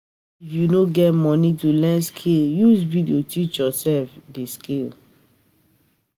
If you no get moni to learn skill, use video teach yoursef di skill.